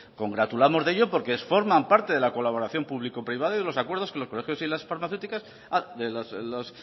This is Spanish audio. congratulamos de ellos porque forman parte de la colaboración público privada y de los acuerdos con los colegios y farmacéuticas los